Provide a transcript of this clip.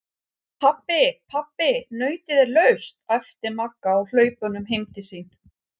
Pabbi, pabbi nautið er laust! æpti Magga á hlaupunum heim til sín.